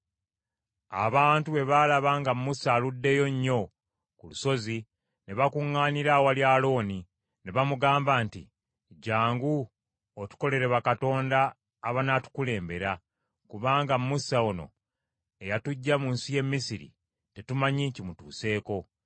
Abantu bwe baalaba nga Musa aluddeyo nnyo ku lusozi, ne bakuŋŋaanira awali Alooni, ne bamugamba nti, “Jjangu, otukolere bakatonda abanaatukulembera; kubanga Musa ono eyatuggya mu nsi y’e Misiri, tetumanyi kimutuuseeko.”